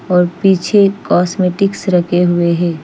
ओर पीछे पीछे कॉस्मेटिक रखे हुए है।